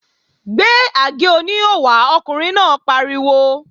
Gbé àgé-oníhò wá! Ọkùnrin náà pariwo